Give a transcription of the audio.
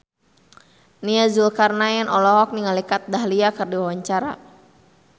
Nia Zulkarnaen olohok ningali Kat Dahlia keur diwawancara